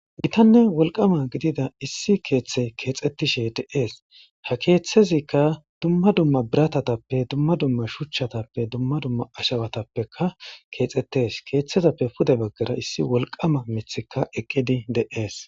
Giitane woliqama gidida issi keethay kexetishe deasi ha keethazika duuma duuma biiratape duuma duuma shuchatape duuma duuma ashawatapeka kexetesi keethazape puude bagara issi woliqama miithika eqqid deasi.